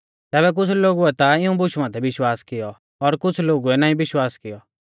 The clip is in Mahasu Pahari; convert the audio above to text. तैबै कुछ़ लोगुऐ ता इऊं बुशु माथै विश्वास कियौ और कुछ़ लोगुऐ नाईं विश्वासा कियौ